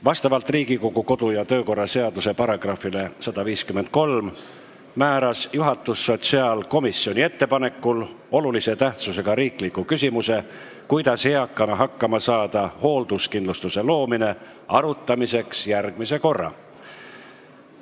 Vastavalt Riigikogu kodu- ja töökorra seaduse §-le 153 määras juhatus sotsiaalkomisjoni ettepanekul olulise tähtsusega riikliku küsimuse "Kuidas eakana hakkama saada – hoolduskindlustuse loomine?" arutamiseks järgmise korra.